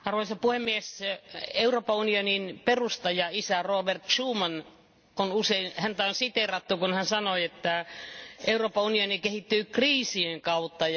Arvoisa puhemies, Euroopan unionin perustajaisää Robert Schumania on usein siteerattu, kun hän sanoi, että Euroopan unioni kehittyy kriisien kautta.